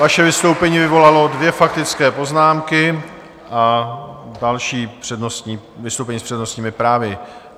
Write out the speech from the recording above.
Vaše vystoupení vyvolalo dvě faktické poznámky a další vystoupení s přednostními právy.